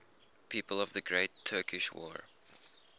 people of the great turkish war